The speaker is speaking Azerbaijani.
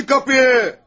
Açın qapıyı!